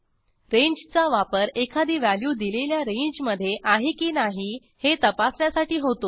रेंजचा वापर एखादी व्हॅल्यू दिलेल्या रेंजमधे आहे की नाही हे तपासण्यासाठी होतो